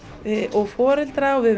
og foreldra og við